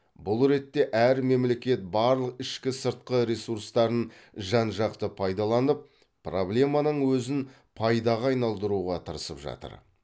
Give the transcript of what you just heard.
бұл ретте әр мемлекет барлық ішкі сыртқы ресурстарын жан жақты пайдаланып проблеманың өзін пайдаға айналдыруға тырысып жатыр